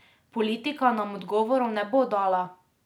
Politika nam odgovorov ne bo dala.